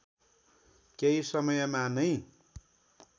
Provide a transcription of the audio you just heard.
केही समयमा नै